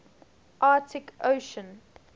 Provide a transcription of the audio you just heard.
arctic ocean